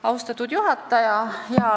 Austatud juhataja!